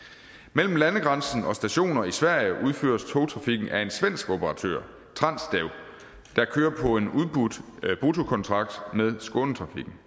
mellem landegrænsen og stationer i sverige udføres togtrafikken af en svensk operatør transdev der kører på en udbudt bruttokontrakt med skånetrafikken